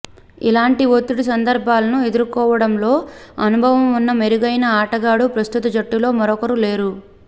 అలాంటి ఒత్తిడి సందర్భాలను ఎదుర్కోవడంలో అనుభవం ఉన్న మెరుగైన ఆటగాడు ప్రస్తుత జట్టులో మరొకరు లేరు